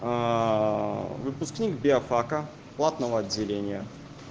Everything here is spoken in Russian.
выпускник биофака платного отделения